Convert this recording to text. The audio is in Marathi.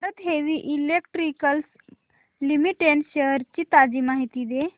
Bharat heavy electricals limited shares ची ताजी माहिती दे